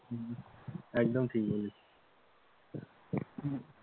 হম একদম ঠিক বলেছিস,